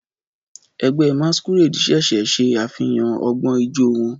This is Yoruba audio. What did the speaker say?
Ẹgbẹ́ Masqurade ṣẹ̀ṣẹ̀ ṣe àfihàn ọgbọ́n ijó wọn.